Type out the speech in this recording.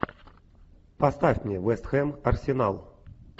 поставь мне вест хэм арсенал